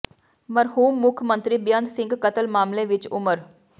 ਮਰਹੂਮ ਮੁੱਖ ਮੰਤਰੀ ਬੇਅੰਤ ਸਿੰਘ ਕਤਲ ਮਾਮਲੇ ਵਿੱਚ ਉਮਰ